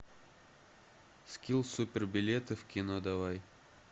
скилл супер билеты в кино давай